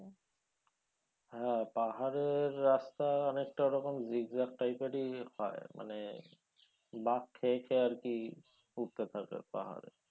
হ্যাঁ পাহাড়ের রাস্তা অনেকটা ওরকম zig zag type এরই হয় মানে বাঁক খেয়ে খেয়ে আরকি উঠতে থাকে পাহাড়ে